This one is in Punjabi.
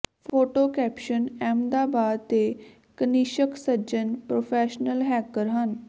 ਫੋਟੋ ਕੈਪਸ਼ਨ ਅਹਿਮਦਾਬਾਦ ਦੇ ਕਨਿਸ਼ਕ ਸੱਜਨ ਪ੍ਰੋਫੈਸ਼ਨਲ ਹੈਕਰ ਹਨ